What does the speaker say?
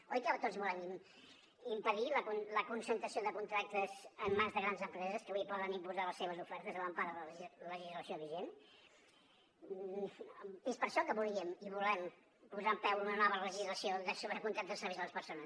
oi que tots volem impedir la concentració de contractes en mans de grans empreses que avui poden imposar les seves ofertes a l’empara de la legislació vigent és per això que volíem i volem posar en peu una nova legislació sobre contractes de serveis a les persones